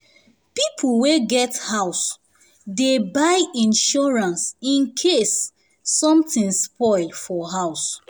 people wey get house dey buy insurance in case something spoil for house